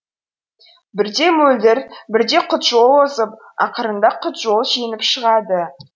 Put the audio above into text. бірде мөлдір бірде құтжол озып ақырында құтжол жеңіп шығады